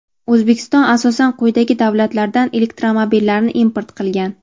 O‘zbekiston asosan quyidagi davlatlardan elektromobillarni import qilgan:.